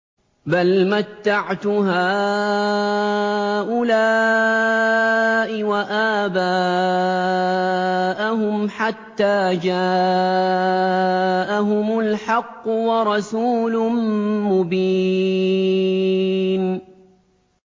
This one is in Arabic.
بَلْ مَتَّعْتُ هَٰؤُلَاءِ وَآبَاءَهُمْ حَتَّىٰ جَاءَهُمُ الْحَقُّ وَرَسُولٌ مُّبِينٌ